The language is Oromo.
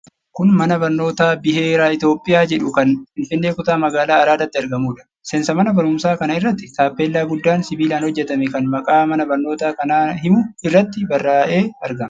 Kun mana barnootaa Biheera Itoophiyaa jedhu kan Finfinnee kutaa magaalaa Araadaatti argamuudha. Seensa mana baruumsaa kana irratti taappellaa guddaan sibiilaan hojjatame, kan maqaa mana barnoota kanaa himu irratti barraa'ee argama.